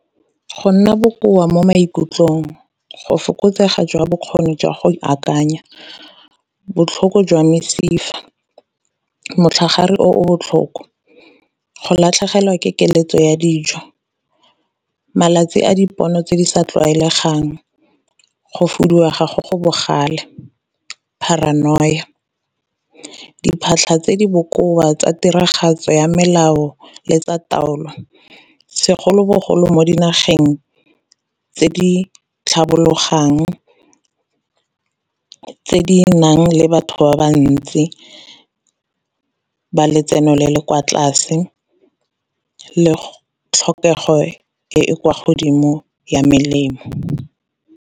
Go nna bokoa mo maikutlong, go fokotsega jwa bokgoni jwa go akanya, botlhoko jwa mesifa, metlhagare o botlhoko, go latlhegelwa ke keletso ya dijo, malatsi a dipono tse di sa tlwaelegang, go foduega go go bogale, paranoia. Diphatlha tse di bokoa tsa tiragatso ya melao le tsa taolo segolobogolo mo dinageng tse di tlhabologong, tse di nang le batho ba ba ntsi ba letseno le le kwa tlase le tlhokego e e kwa godimo ya melemo.